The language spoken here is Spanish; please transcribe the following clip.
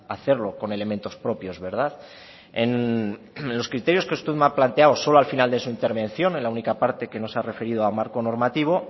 hacerlo con elementos propios verdad en los criterios que usted me ha planteado solo al final de su intervención en la única parte que no se ha referido a marco normativo